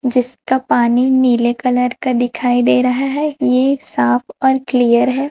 जिसका पानी नीले कलर का दिखाई दे रहा है ये साफ और क्लियर है।